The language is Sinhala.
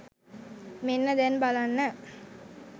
මෙන්න දැන් බලන්න